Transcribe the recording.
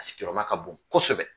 A sigiyɔrɔma ka bon kosɛbɛ.